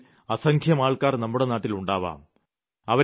ഇത്തരത്തിൽ അസംഖ്യം ആൾക്കാർ നമ്മുടെ നാട്ടിലുണ്ടാവാം